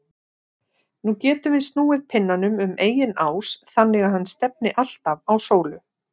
Nú getum við snúið pinnanum um eigin ás þannig að hann stefni alltaf á sólu.